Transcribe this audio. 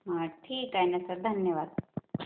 हा ठीक आहे ना सर, धन्यवाद.